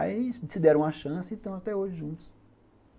Aí eles se deram uma chance e estão até hoje juntos.